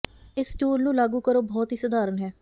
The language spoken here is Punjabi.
ਇਸ ਟੂਲ ਨੂੰ ਲਾਗੂ ਕਰੋ ਬਹੁਤ ਹੀ ਸਧਾਰਨ ਹੈ